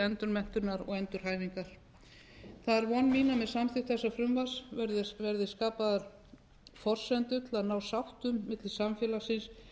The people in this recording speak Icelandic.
endurmenntunar og endurhæfingar það er von mín að með samþykkt þessa frumvarps verði skapaðar forsendur til að ná sátt um milli samfélagsins